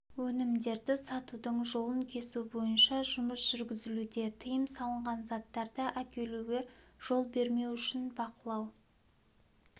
өнімдерді сатудың жолын кесу бойынша жұмыс жүргізілуде тыйым салынған заттарды әкелуге жол бермеу үшін бақылау